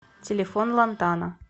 телефон лантана